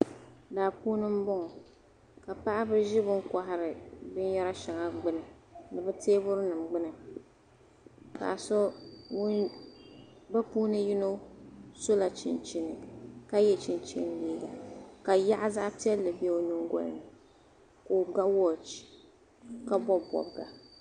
Daa puuni n bɔŋɔ. kapaɣibi zi bi n kohiri bin yari shaŋa gbuni, bi teebuli nim gbuni bi puuni yinɔ sola chinchini ka ye chinchini liiga ka yaɣu zaɣi piɛli. be onyiŋgolini, ka oga waɔchi, ka bɔb bɔbiga